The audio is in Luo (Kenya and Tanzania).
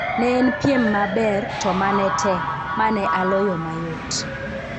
"Ne en piem maber to ma ne tek, ma ne aloyo mayot.